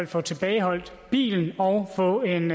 få tilbageholdt bilen og få en